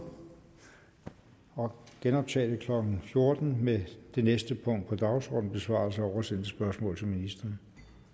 og genoptage mødet klokken fjorten med det næste punkt på dagsordenen besvarelse af oversendte spørgsmål til ministrene